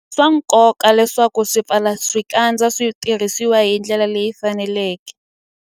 I swa nkoka leswaku swipfalaxikandza swi tirhisiwa hi ndlela leyi faneleke.